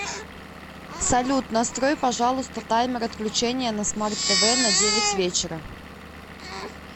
салют настрой пожалуйста таймер отключения на смарт тв на девять вечера